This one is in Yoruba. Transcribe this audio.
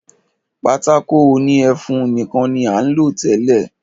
Pátákó òní ẹfun nìkan ní à ń lò tẹ́lẹ̀.